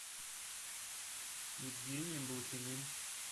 евгением блохиным